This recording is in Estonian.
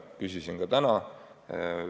Küsisin selle kohta ka täna.